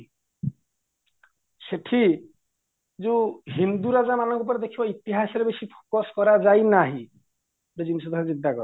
ସେଠି ଯୋଉ ହିନ୍ଦୁ ରାଜା ମାନଙ୍କ ଉପରେ ଦେଖିବ ଇତିହାସ ଉପରେ ବେଶୀ focus କରାଯାଇ ନାହିଁ ଗୋଟେ ଜିନିଷ ଥରେ ଚିନ୍ତାକର